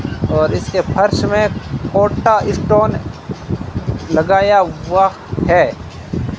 और इसके फर्श में कोटा स्टोन लगाया हुआ है।